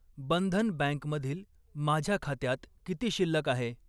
बंधन बँकमधील माझ्या खात्यात किती शिल्लक आहे?